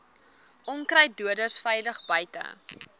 onkruiddoders veilig buite